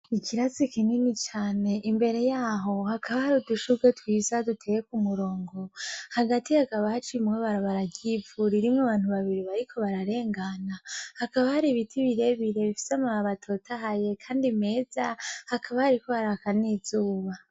Icatsi kinini cane, imbere yaho hakaba hari udushurwe twiza duteye kumurongo, hagti hakaba haciyemwo ibarabara ry'ivu ririmwo abantu babiri bariko bararengana hakaba hari ibiti birebire bifise amababi atotahaye Kandi meza hakaba hariko haraka nizuba.